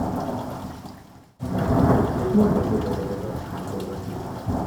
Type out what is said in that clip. ассистент здесь можно где то покататься на квадроциклах